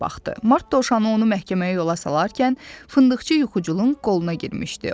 Mart Dovşanı onu məhkəməyə yola salarkən, fındıqçı yuxuculun qoluna girmişdi.